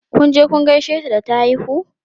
Kun je kun gaishe ta da ta haihu?